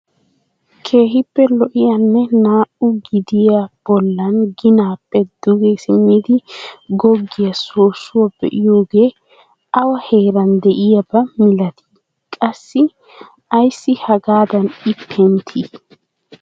Keehippe lo"iyaanne naa"u gidiyaa bolla ginaappe duge simmidi goggiyaa sossuwaa be'iyoogee awa heean de'iyaaba milatii? qassi ayssi hagaadan i penttii?